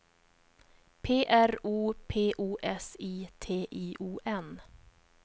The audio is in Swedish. P R O P O S I T I O N